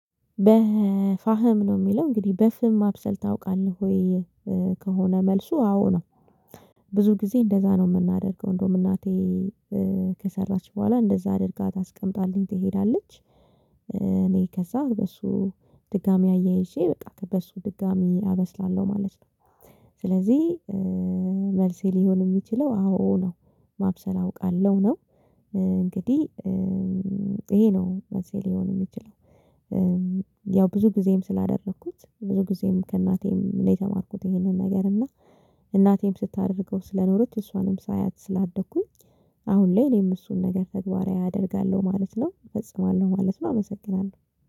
በፋህም ነው የሚለው እንግዲህ በፍም ማብሰል ታውቃለህ ወይ? ከሆነ መልሱ አዎ ነው። ብዙ ጊዜ እንደዛ ነው የምናደርገው እንደውም እናቴ ከሰራች በኋላ እንደዛ አድርጋ ታስቀምጣልኝ ትሄዳለች። እኔ ከዛ በሱ ድጋሚ አያይዤ በቃ በሱ ድጋሚ አበስላለሁ ማለት ነው። ስለዚህ መልሴ ሊሆን የሚችለው አዎ ነው። ማብሰል አውቃለሁ ነው። እንግዲህ ይሄ ነው እነዚህ ሊሆን የሚችለው። ያው ብዙ ጊዜም ስላደረኩት ብዙ ጊዜም ከእናቴም ነው የተማርኩት ይሄንን ነገር። እና እናቴም ስታደርገው ስለኖረች እሷንም ሳያት ስላደኩኝ አሁን ላይ እኔም እሱን ነገር ተግባራዊ አደርጋለሁ ማለት ነው። እፈጽማለሁ ማለት ነው። አመሰግናለሁ